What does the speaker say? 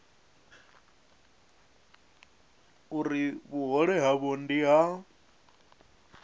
uri vhuhole havho ndi ha